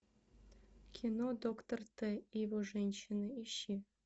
кино доктор т и его женщины ищи